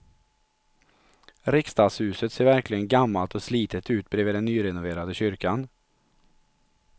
Riksdagshuset ser verkligen gammalt och slitet ut bredvid den nyrenoverade kyrkan.